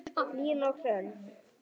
Hlín og Hrönn.